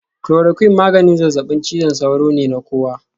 Chloroquine maganin zazzabin cizon sauro ne na kowa